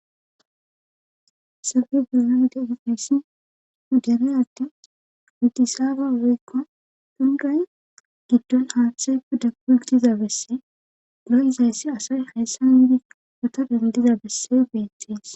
Sabe gudunan de ifessi hudalay atde widisaaba oweykko dunday giddon aaththey kuddagu gidiza besse guloyizayssi asay hayssan wiidi wota dandiza besse beettees.